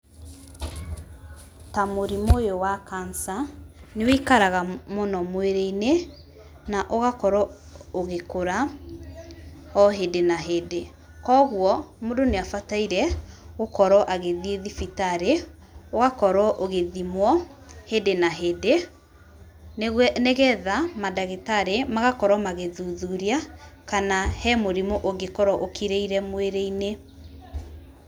Ta mũrimũ ũyũ wa cancer nĩ wĩikaraga mũno mwĩrĩ-inĩ na ũgakorwo ũgĩkũra o hĩndĩ na hĩndĩ. Koguo mũndũ nĩ abataire gũkorwo agĩthiĩ thibitarĩ, ũgakorwo ũgĩthimwo hĩndĩ na hĩndĩ, nĩgetha mandagĩtarĩ magakorwo magĩthuthuria kana he mũrimũ ũngĩkorwo ũkirĩire mwĩrĩ-inĩ.